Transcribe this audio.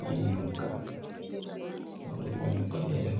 Ma nyuka kendo ma nyuka bel,